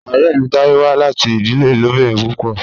Ọrẹ mi Taye wa lati idile ilobirin pupọ.